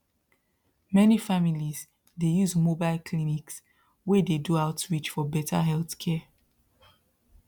many families dey use mobile clinics wey dey do outreach for better healthcare